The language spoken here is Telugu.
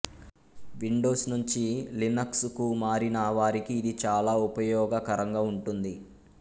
విండోస్ నుంచి లినక్స్ కు మారిన వారికి ఇది చాలా ఉపయోగకరంగా వుంటుంది